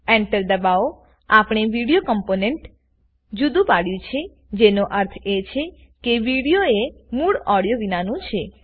Enter દબાવોઆપણે video component જુદું પાડયું છેજેનો અર્થ એ છે કે વીડીઓએ મૂળ ઓડિયો વિનાનું છે